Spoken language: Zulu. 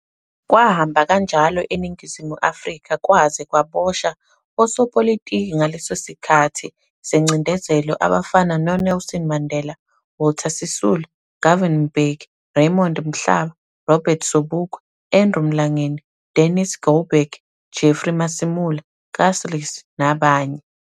Kwahamba kanjalo eNingizimu Afrika kwaze kwaboshwa osopolitiki ngaleso sikhathi sengcindezelo abafana no Nelson Mandela, Walter Sisulu, Govan Mbeki, Raymond Mhlaba, Robert Sobukwe, Andrew Mlangeni, Dennis Goldberg, Jeffrey Masemola, Kasrils nabanye.